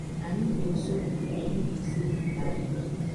Anyị bi nso Mbaise, n’ala Igbo.